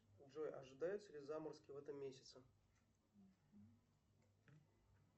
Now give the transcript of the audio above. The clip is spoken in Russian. джой ожидаются ли заморозки в этом месяце